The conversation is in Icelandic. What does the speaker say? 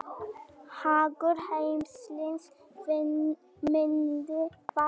Hagur heimilisins myndi vænkast.